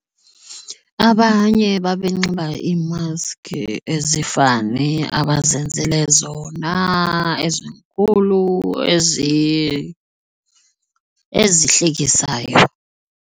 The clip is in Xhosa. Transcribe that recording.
Abanye babe nxiba iimaski ezifani abazenzele zona ezinkulu ezihlekisayo.